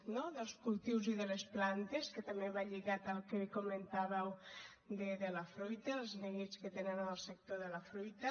no dels cultius i de les plantes que també va lligat al que avui comentàveu de la fruita els neguits que tenen en el sector de la fruita